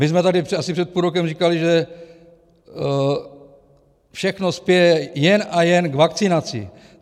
My jsme tady asi před půl rokem říkali, že všechno spěje jen a jen k vakcinaci.